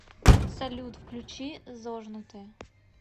салют включи зожнутые